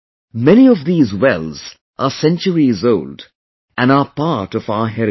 Many of these wells are centuries old and are part of our heritage